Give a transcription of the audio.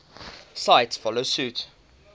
cities follow suit